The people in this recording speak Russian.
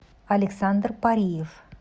александр париев